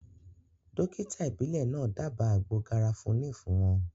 Dókítà ìbílẹ̀ náà dába àgbo garafuni fún wọn